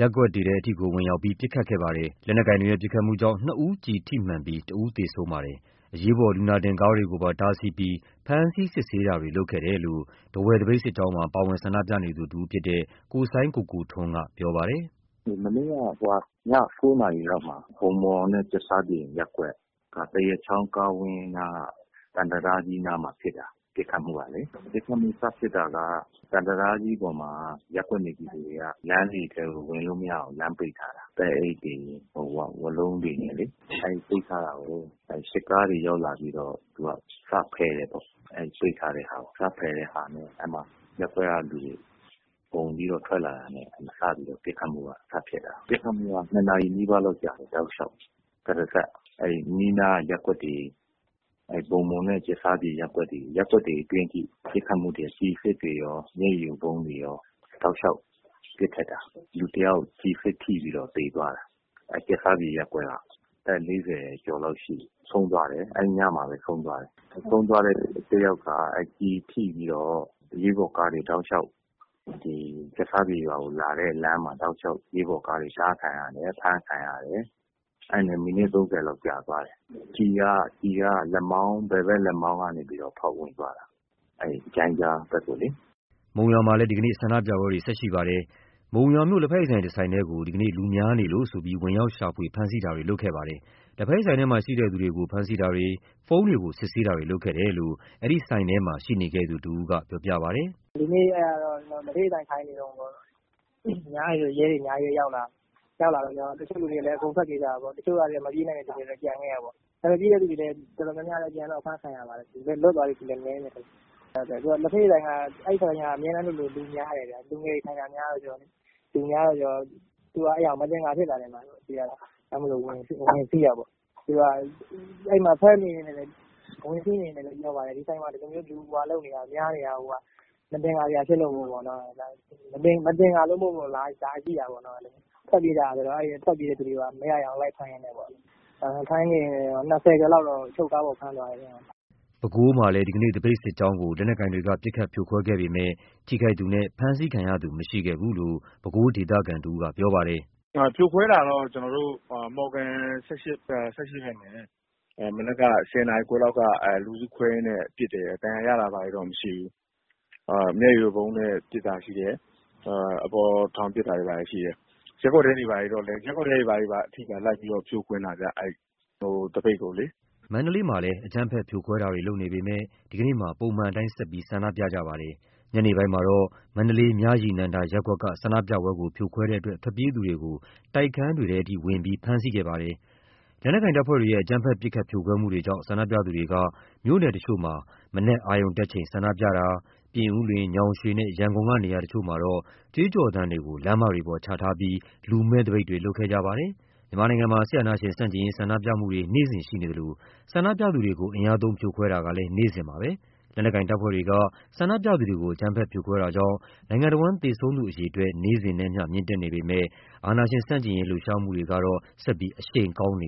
ရပ်ကွက်တွေထဲထိကို ဝင်ရောက်ပြီး ပစ်ခတ်မှုတွေလုပ်ခဲ့ပါတယ်။ လက်နက်ကိုင်တွေရဲ့ ပစ်ခတ်မှုကြောင့် နှစ်ဦးကျည်ထိမှန်ခဲ့ပြီး တစ်ဦးသေဆုံးခဲ့ပါတယ်။ အရေးပေါ်လူနာတင်ကားတွေကိုပါ တားဆီးပြီး ဖမ်းဆီးစစ်ဆေးတာတွေလုပ်ခဲ့တယ်လို့ ထားဝယ် သပိတ်စစ်ကြောင်းမှာ ပါဝင်ဆန္ဒပြနေသူတစ်ဦးဖြစ်တဲ့ ကိုစိုင်းကိုကိုထွန်းက ပြောပါတယ်။ “မနေ့ည ၉ နာရီဝန်းကျင်လောက်မှာ ဂမ်မော်နဲ့ ကြက်ဆားပြင်ရပ်ကွက်က သံတံတားကြီးနားမှာ ဖြစ်တာ ပစ်ခတ်မှုစဖြစ်တာကလေ။ ပစ်ခတ်မှု စဖြစ်တာက သံတံတားကြီးပေါ်မှာ ရပ်ကွက်နေပြည်သူတွေက ရပ်ကွက်ထဲကို ဝင်လို့မရအောင် လမ်းပိတ်ထားတာ။ သဲအိတ်တွေ ဝါးလုံးတွေနဲ့လေ။ အဲ့လိုပိတ်ထားတာကို စစ်ကားတွေ ရောက်လာပြီးတော့ စဖယ်တယ်ပေါ့။ ပိတ်ထားတာကို စဖယ်တာမှာ ရပ်ကွက်ကလူတွေ အုံပြီးတော့ ထွက်လာတာနဲ့ ပစ်ခတ်မှုက စဖြစ်တယ်။ ပစ်ခတ်မှုက ၂ နာရီနီးပါးလောက်ကြာတယ် တောက်လျှောက်ကြီး၊ တရစပ် ရပ်ကွက်တွေထဲထိဝင်ပြီး ကျည်အစစ်တွေနဲ့ရော၊ မျက်ရည်ယိုဗုံးတွေနဲ့ရော တောက်လျှောက်ပစ်ခတ်တာ၊ လူတစ်ယောက်ကျည်ထိပြီးသေသွားတယ်၊ ကြက်ဆားပြင်ရပ်ကွက်ကပဲ အဲ့ညမှာပဲဆုံးသွားတယ်။. ဆုံးသွားတဲ့သူက ကျည်ထိပြီးတော့ အရေးပေါ်ကားတွေတောက်လျှောက် လာတဲ့လမ်းမှာ တားခံရတယ်။ ဖမ်းခံရတယ်။ အဲ့ဒါနဲ့ မိနစ် ၃၀ လောက်ကြာသွားတယ်။ ကျည်က ဘယ်ဖက်လက်မောင်းကနေပြီးတော့ ဖောက်ဝင်သွားတာ ဂျိုင်းကြားဖက်ကို။” ဒီကနေ့ မုံရွာမှာလည်း ဆန္ဒပြမှုတွေ ဆက်ရှိနေပါတယ်။ ဒီနေ့ မုံရွာမြို့ လက်ဖက်ရည်ဆိုင် တစ်ဆိုင်ထဲကို လူများနေလို့ ဆိုပြီး ဝင်ရောက် ရှာဖွေဖမ်းဆီးတာတွေလုပ်ခဲ့ပါတယ်။ လက်ဖက်ရည်ဆိုင်ထဲမှာရှိတဲ့ သူတွေကို ဖမ်းဆီးတာတွေ၊ ဖုန်းတွေကို စစ်ဆေးတာမျိုးလုပ်ခဲ့တယ်လို့ အဲ့ဒီဆိုင်ထဲမှာရှိနေခဲ့သူ တစ်ဦးက ပြောပြပါတယ်။ “ဒီနေ့ အဲ့ဒီ လက်ဖက်ရည်ဆိုင်မှာ ထိုင်နေတုန်း ရဲတွေ အများကြီးပဲ ရောက်လာတယ်။ ရောက်လာတော့ ဆိုင်ထဲက လူတွေကလည်း ထွက်ပြေးကြတာပေါ့။ မပြေးနိုင်တဲ့ သူတွေကတော့ ကျန်ခဲ့တယ်။ မပြေးတဲ့သူ တော်တော်များများတော့ အဖမ်းခံရတယ်။ လွတ်လာတဲ့သူတော့ နည်းတယ်ဗျ။ အဲ့လက်ဖက်ရည်ဆိုင်က အမြဲတမ်းလိုလို လူများတယ်။ လူငယ်တွေထိုင်တာ များတော့ကျ လူများတယ်ဆိုတော့ သူတို့က အဲ့တာကို အသခ်ါဖြစ်တာပေါ့။ ဒါကြောင့်မို့ ဝင်စီးတာပေါ့။ သူတို့က အဲ့မှာ ဝင်လာကတည်းက ပြောပါတယ်၊ ဒီဆိုင်မှာ အဲ့လို လူများနေတာကိုက မသခ်ါစရာဖြစ်လို့မို့ လာကြည့်တာပေါ့၊ အဲ့တော့ လူတွေက ထွက်ပြေးကြတော့ ထွက်ပြေးတဲ့လူတွေကို မရရအောင်လိုက်ဖမ်းတာပေါ့။ ၂၀ ကျော်လောက်တော့ အချုပ်ကားပေါ်ဖမ်းသွားတယ်ဗျ။” ပဲခူးမှာလည်း ဒီကနေ့ သပိတ်စစ်ကြောင်းကို လက်နက်ကိုင်တွေက ပစ်ခတ်ဖြိုခွဲခဲ့ပေမယ့် ထိခိုက်သူနှင့် ဖမ်းဆီးခံရသူ မရှိခဲ့ဘူးလို့ ပဲခူး ဒေသခံတစ်ဦးက ပြောပါတယ်။ “ဖြိုခွဲတာကတော့ ကျွန်တော်တို့ မော်ဂံ ၁၈ ရပ်ကွက်ဖက်မနက်က ၁၀ နာရီခွဲလောက်က လူစုခွဲရင်းနဲ့ ပစ်တယ်။ ဒဏ်ရာရတာတွေတော့ မရှိဘူး။ မျက်ရည်ယိုဗုံးနဲ့ ပစ်တာရှိတယ်။ အပေါ်ထောင်ပစ်တာတွေဘာတွေရှိတယ်။ ရပ်ကွက်ထဲတွေထိ လိုက်ပြီးတော့ ဖြိုခွဲတာဗျ သပိတ်ကိုလေ။” မန္တလေးမှာလည်း လက်နက်ကိုင်တပ်ဖွဲ့တွေက အကြမ်းဖက်ဖြိုခွဲမှုတွေလုပ်နေပေမယ့် ဒီကနေ့မှာ ပုံမှန်အတိုင်း ဆက်ပြီး ဆန္ဒပြခဲ့ကြပါတယ်။ ညနေပိုင်းမှာတော့ မန္တလေး မြရည်နန္ဒာရပ်ကွက်က ဆန္ဒပြမှုကို ဖြိုခွဲတဲ့အတွက် ထွက်ပြေးသူတွေကို တိုက်ခန်းတွေထဲထိ ဝင်ရောက်ဖမ်းဆီးတာတွေလုပ်ခဲ့ပါတယ်။ လက်နက်ကိုင်တပ်ဖွဲ့တွေရဲ့ အကြမ်းဖက် ပစ်ခတ်ဖြိုခွဲမှုတွေကြောင့် ဆန္ဒပြသူတွေက မြို့နယ်တစ်ချို့မှာ မနက်အာရုံတက်ချိန် ဆန္ဒပြတာ၊ ပြင်ဦးလွင်၊ ညောင်ရွေနှင့် ရန်ကုန်က နေရာတစ်ချို့မှာ ကြွေးကြော်သံတွေကို လမ်းမပေါ်ချထားပြီး လူမဲ့သပိတ်တွေ လုပ်ခဲ့ကြပါတယ်။ မြန်မာမှာ စစ်အာဏာရှင် ဆန့်ကျင်ရေး ဆန္ဒပြလှုပ်ရှားမှုတွေ နေ့စဉ်ရှိနေသလို ဆန္ဒပြသူတွေကို ဖြိုခွဲမှုတွေကလည်း နေ့စဉ်ရှိနေပါတယ်။ လက်နက်ကိုင်တပ်ဖွဲ့တွေက ဆန္ဒပြအုပ်စုတွေကို အကြမ်းဖက်ဖြိုခွဲမှုတွေကြောင့် နိုင်ငံတစ်ဝန်း သေဆုံးသူတွေ နေ့စဉ်နဲ့အမျှ မြင့်တက်နေပေမယ့် အာဏာရှင် ဆန့်ကျင်ရေးလှုပ်ရှားမှုတွေကတော့ ဆက်လက်အရှိန်ကောင်းနေ